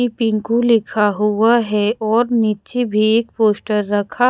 एक पिंकू लिखा हुआ है और नीचे भी एक पोस्टर रखा--